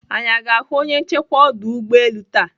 Anyị aga ahụ onye nchekwa ọdọ ụgbọelu taa?